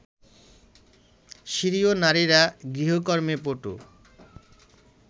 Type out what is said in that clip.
সিরীয় নারীরা গৃহকর্মে পটু